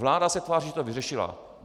Vláda se tváří, že to vyřešila.